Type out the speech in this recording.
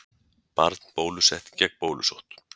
Barn bólusett gegn bólusótt.